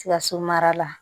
Sikaso mara la